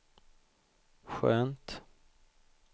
skönt